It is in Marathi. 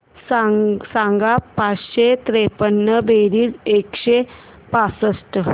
सांग पाचशे त्रेपन्न बेरीज एकशे पासष्ट